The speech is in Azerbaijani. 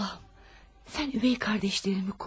Allahım, sən ögey qardaşlarımı qoru.